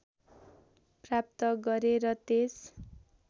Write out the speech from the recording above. प्राप्त गरे र त्यस